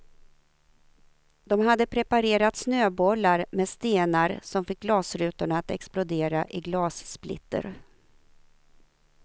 De hade preparerat snöbollar med stenar som fick glasrutorna att explodera i glassplitter.